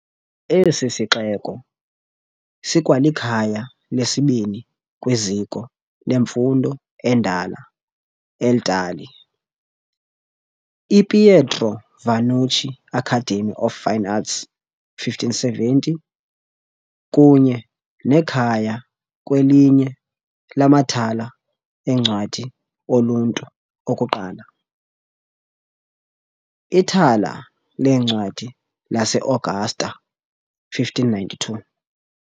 Esi sixeko sikwalikhaya lesibini kwiziko lemfundo endala eItali, iPietro Vannucci Academy of Fine Arts, 1570, kunye nekhaya kwelinye lamathala eencwadi oluntu okuqala, iThala leencwadi laseAugusta 1592.